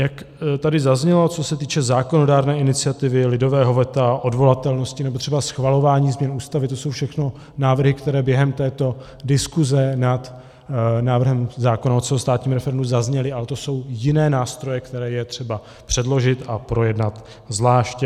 Jak tady zaznělo, co se týče zákonodárné iniciativy, lidového veta, odvolatelnosti nebo třeba schvalování změn Ústavy, to jsou všechno návrhy, které během této diskuse nad návrhem zákona o celostátním referendu zazněly, ale to jsou jiné nástroje, které je třeba předložit a projednat zvlášť.